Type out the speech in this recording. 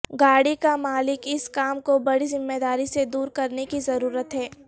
گاڑی کا مالک اس کام کو بڑی ذمہ داری سے دور کرنے کی ضرورت ہے